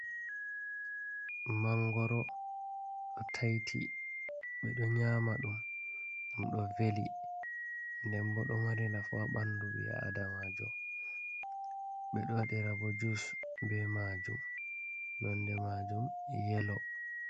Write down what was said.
Mangoro ɗo taiti ɓeɗo nyama ɗum, ɗum ɗo veli, nden bo ɗum ɗo mari nafu ha bandu ɓi Adamajo, ɓe ɗo waɗi ra bo jus ɓe ma jum, non de majum yelo